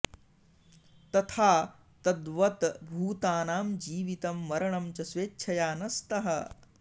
तथा तद्वत् भूतानां जीवितं मरणं च स्वेच्छया न स्तः